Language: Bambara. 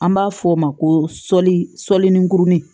An b'a fɔ o ma ko sɔli sɔli nurunin